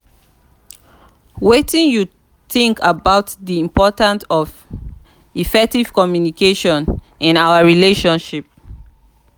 wetin you think about di importance of effective communication in our relationship?